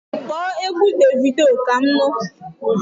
Kpọọ égwu Davido Kam nu!